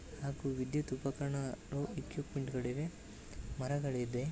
ಹಾಗೂ ವಿದ್ಯುತ್ ಉಪಕರಣಗಳು ಇಕ್ವಿಪ್ಮೆಂಟ್ ಗಳಿವೆ ಮರಗಳಿದೆ.